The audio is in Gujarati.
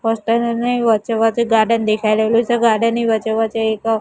પોસ્ટર ની વચ્ચે વચ્ચે ગાર્ડન દેખાય રહેલું છે ગાર્ડન ની વચ્ચે વચ્ચે એક--